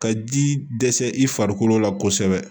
Ka ji dɛsɛ i farikolo la kosɛbɛ